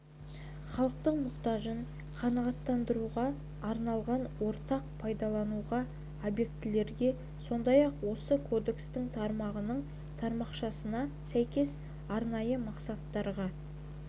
халықтың мұқтажын қанағаттандыруға арналған ортақ пайдаланудағы объектілерге сондай-ақ осы кодекстің тармағының тармақшасына сәйкес арнайы мақсаттағы